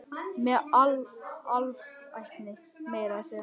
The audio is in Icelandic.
Með alvæpni meira að segja!